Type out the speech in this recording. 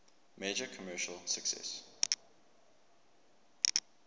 major commercial success